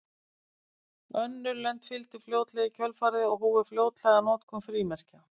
Önnur lönd fylgdu fljótlega í kjölfarið og hófu fljótlega notkun frímerkja.